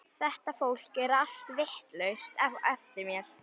Þetta fólk er allt vitlaust á eftir mér.